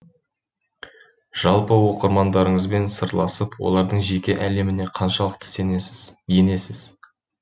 жалпы оқырмандарыңызбен сырласып олардың жеке әлеміне қаншалықты енесіз